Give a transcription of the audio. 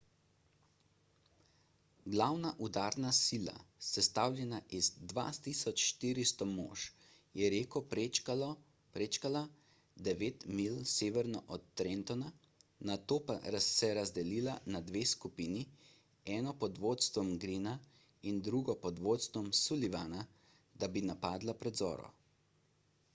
glavna udarna sila sestavljena iz 2400 mož je reko prečkala devet milj severno od trentona nato pa se razdelila na dve skupini eno pod vodstvom greena in drugo pod vodstvom sullivana da bi napadla pred zoro